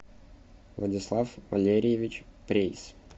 владислав валерьевич прейс